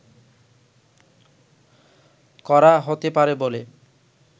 করা হতে পারে বলে